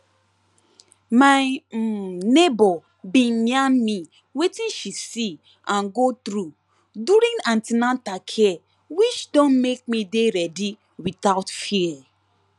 my um neighbor bin yarn me wetin she see and go through during an ten atal care which don make me dey ready without fear